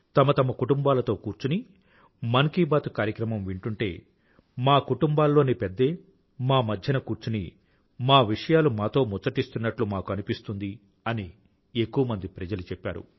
తమ కుటుంబాలతో కూర్చుని మన్ కీ బాత్ కార్యక్రమం వింటుంటే మా కుటుంబాలలోని పెద్దే మా మధ్యన కూర్చుని మా విషయాలు మాతో ముచ్చటిస్తున్నట్లు మాకు అనిపిస్తుంది అని ఎక్కువమంది ప్రజలు చెప్పారు